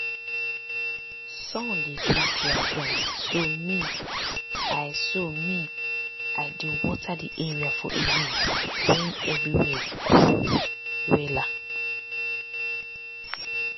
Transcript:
sun dey quick dry ground so me i so me i dey water di area for evening when everywhere cool wella.